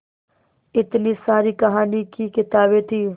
इतनी सारी कहानी की किताबें थीं